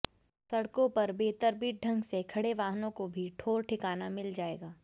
सड़कों पर बेतरतीब ढ़ंग से खड़े वाहनों को भी ठौर ठिकाना मिल जायेगा